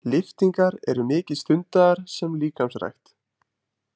Lyftingar eru mikið stundaðar sem líkamsrækt.